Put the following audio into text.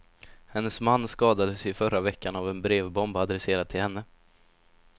Hennes man skadades i förra veckan av en brevbomb adresserad till henne.